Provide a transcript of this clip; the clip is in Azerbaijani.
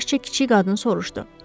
Yaşca kiçik qadın soruşdu.